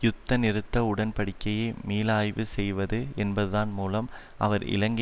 யுத்த நிறுத்த உடன்படிக்கையை மீளாய்வு செய்வது என்பதான் மூலம் அவர் இலங்கை